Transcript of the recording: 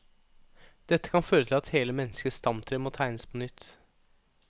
Dette kan føre til at hele menneskets stamtre må tegnes på nytt.